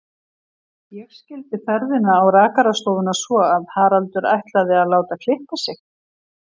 Ég skildi ferðina á rakarastofuna svo að Haraldur ætlaði að láta klippa sig.